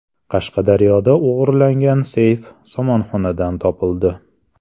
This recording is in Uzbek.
Qashqadaryoda o‘g‘irlangan seyf somonxonadan topildi.